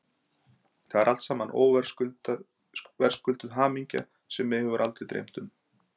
Það er alt saman óverðskulduð hamingja sem mig hafði aldrei dreymt um.